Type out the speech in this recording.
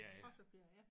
Også ferie